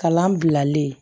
Kalan bilalen